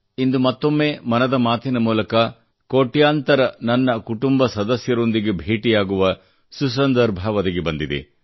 ಇಂದು ಮತ್ತೊಮ್ಮೆ ಮನದ ಮಾತಿನ ಮೂಲಕ ಕೋಟ್ಯಂತರ ನನ್ನ ಕುಟುಂಬ ಸದಸ್ಯರೊಂದಿಗೆ ಭೇಟಿಯಾಗುವ ಸುಸಂದರ್ಭ ಒದಗಿ ಬಂದಿದೆ